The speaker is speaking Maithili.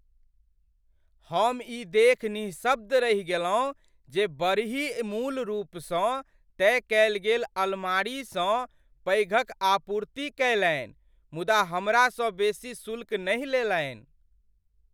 हम ई देखि निःशब्द रहि गेलहुँ जे बड़ही मूल रूपसँ तय कयल गेल अलमारीसँ पैघक आपूर्ति कयलनि मुदा हमरासँ बेसी शुल्क नहि लेलनि।